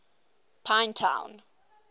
pinetown